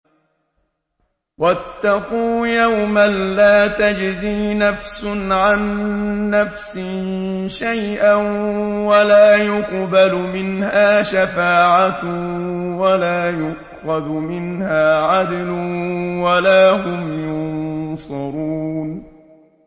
وَاتَّقُوا يَوْمًا لَّا تَجْزِي نَفْسٌ عَن نَّفْسٍ شَيْئًا وَلَا يُقْبَلُ مِنْهَا شَفَاعَةٌ وَلَا يُؤْخَذُ مِنْهَا عَدْلٌ وَلَا هُمْ يُنصَرُونَ